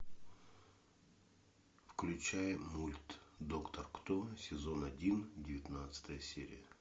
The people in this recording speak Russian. включай мульт доктор кто сезон один девятнадцатая серия